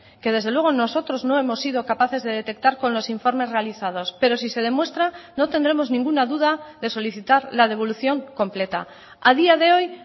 que desde luego nosotros no hemos sido capaces de detectar con los informes realizados pero si se demuestra no tendremos ninguna duda de solicitar la devolución completa a día de hoy